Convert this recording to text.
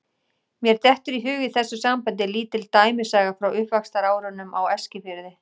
Mér dettur í hug í þessu sambandi lítil dæmisaga frá uppvaxtarárunum á Eskifirði.